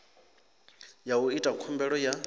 ya u ita khumbelo ya